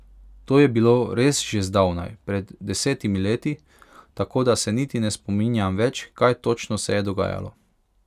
To je bilo res že zdavnaj, pred desetimi leti, tako da se niti ne spominjam več, kaj točno se je dogajalo.